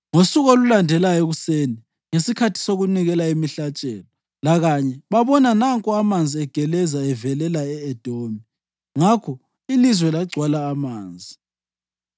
Ngosuku olulandelayo ekuseni, ngesikhathi sokunikela imihlatshelo, lakanye babona, nanko amanzi egeleza evelela e-Edomi! Ngakho ilizwe lagcwala amanzi.